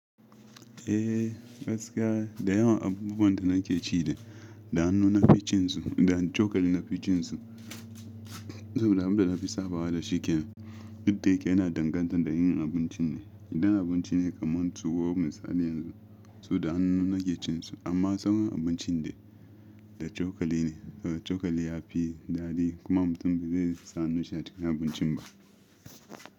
Eh gaskiya da yawan abubuwan da nake ci da hannu na ficin su da cokali na ficin su. Saboda abin da na fi sabawa da shi ken duk da yake yana danganta da yin abincin ne. Idan abinci ne kamar tuwo misali yanzu, su da hannu nake cin su amma sauran abinci de da cokali ne. Cokali ya fi daɗi kuma mutum ba ze sa hannun shi a cikin abincin ba.